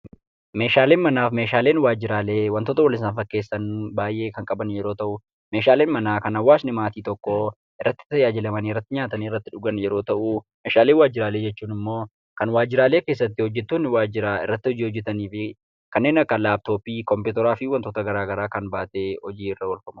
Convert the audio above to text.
Meeshaaleen manaaf meeshaaleen waajjiraalee wantoota wal isaan fakkeessan baay'ee kan qaban yeroo ta'u meeshaaleen manaa kan hawaasni maatii tokkoo irratti tajaajilamanii, irratti nyaatanii, irratti dhugan yoo ta'u meeshaalee waajjiraalee jechuun immoo kan waajjiraalee keessatti hojjettoonni waajjiraa irratti hojii hojjetaniifi kanneen akka laaptoppii, kompiitaraa fi wantoota garaa garaa kan baatee hojiirra oolfamudha.